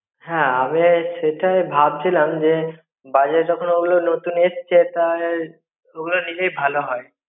হ্যাঁ আমি সেটাই ভাবছিলাম যে, বাজারে যখন ওগুলো নতুন এসছে তাহলে ওগুলো নিলেই ভালো হয়.